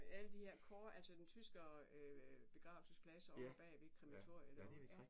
Med alle de her altså sådan tyskere begravelsespladser ovre bag ved krematoriet derovre ja